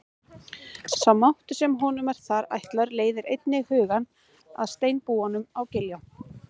Sá máttur sem honum er þar ætlaður leiðir einnig hugann að steinbúanum á Giljá.